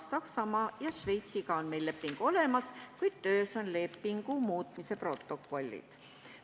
Saksamaa ja Šveitsiga on meil leping olemas, kuid töös on lepingu muutmise protokollid.